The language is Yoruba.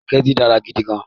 Sùpàgẹ́tì dára gidi gan-an